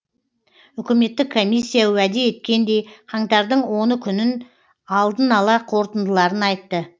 үкіметтік комиссия уәде еткендей қаңтардың оны күнін алдын ала қорытындыларын айтты